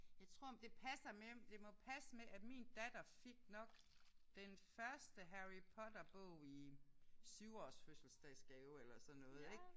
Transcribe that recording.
Jeg tror det passer med det må passe med at min datter fik nok den første Harry Potter bog i syvårs fødselsdagsgave eller sådan noget ik